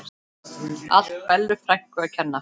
Allt Bellu frænku að kenna.